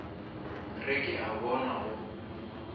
re ke a bona go